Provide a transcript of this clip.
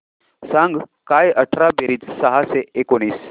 सांग काय अठरा बेरीज सहाशे एकोणीस